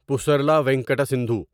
Pusarla Venkata Sindhu